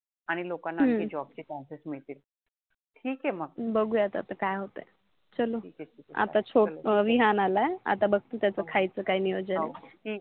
चलो आता चोड ठीक आहे ठीक आहे विहान आलाय आता बगते त्याच खायच काय नियोजन आहे